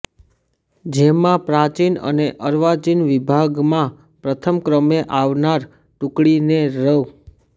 જેમાં પ્રાચિન અને અર્વાચિન વિભાગમાં પ્રથમ ક્રમે આવનાર ટૂકડીને રૃ